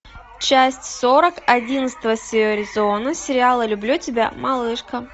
часть сорок одиннадцатого сезона сериала люблю тебя малышка